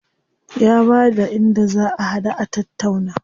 Ya bada inda za a haɗu a tattauna.